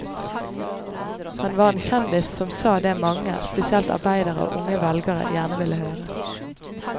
Han var en kjendis som sa det mange, spesielt arbeidere og unge velgere, gjerne ville høre.